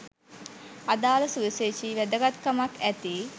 අදාළ සුවිශේෂ වැදගත්කමක් ඇති